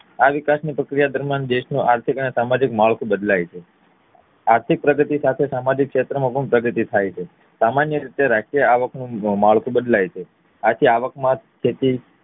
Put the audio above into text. આ વિકાસ ની પ્રક્રિયા દરમ્યાન દેશનું આર્થિક અને સામાજિક માળખું બદલાય છે આર્થિક પ્રગતિ સાથે સામાજિક ક્ષેત્ર માં પણ પ્રગતિ થાય છે સામાન્ય રીતે રાષ્ર્ટીય આવક નું માળખું બદલાય છે આથી આવક માં થતી